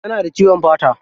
Tana da ciwon fata.